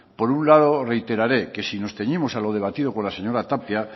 por un lado reiterare que si nos ceñimos a lo debatido con la señora tapia